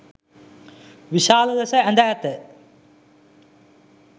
විශාල ලෙස ඇඳ ඇත